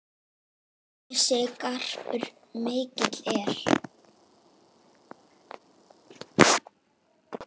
Þessi garpur mikill er.